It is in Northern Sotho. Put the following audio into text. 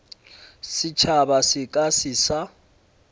setšhaba se ka se sa